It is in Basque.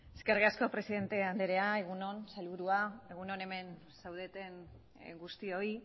eskerrik asko presidente andrea egun on sailburua egun on hemen zaudeten guztioi